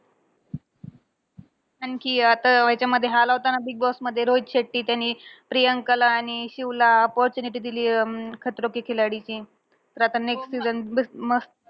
आणखी अं आता याच्यामध्ये हा आला होता ना, बिगबॉसमध्ये रोहित शेट्टी. त्याने प्रियंकाला आणि शिवला opportunity दिलीये अं खतरों के खिलाडीची. तर आता next season बस मस्त